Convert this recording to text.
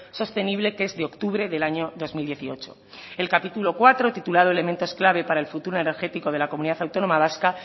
sostenible que es de octubre del año dos mil dieciocho el capítulo cuarto titulado elementos clave para el futuro energético de la comunidad autónoma vasca